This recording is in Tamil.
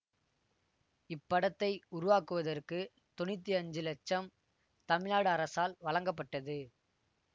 இப்படத்தை உருவாக்குவதற்கு தொன்னூத்தி அஞ்சு இலட்சம் தமிழ்நாடு அரசால் வழங்கப்பட்டது